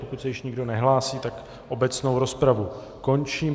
Pokud se již nikdo nehlásí, tak obecnou rozpravu končím.